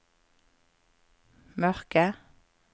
mørke